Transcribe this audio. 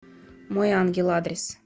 мой ангел адрес